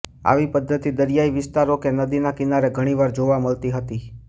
આવી પદ્ધતિ દરિયાઈ વિસ્તારો કે નદીના કિનારે ઘણીવાર જોવા મળતી હતી